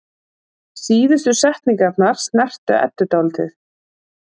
Síðustu setningarnar snertu Eddu dálítið.